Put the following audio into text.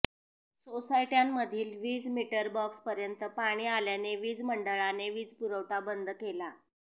सोसायटय़ांमधील वीज मीटर बॉक्सपर्यंत पाणी आल्याने वीज मंडळाने वीजपुरवठा बंद केला